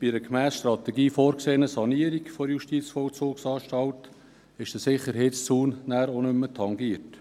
Bei einer gemäss Strategie vorgesehenen Sanierung der JVA wird der Sicherheitszaun auch nicht mehr tangiert.